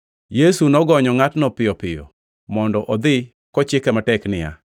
Yesu nogonyo ngʼatno piyo piyo mondo odhi kochike matek niya,